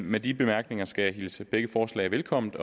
med de bemærkninger skal jeg hilse begge forslag velkommen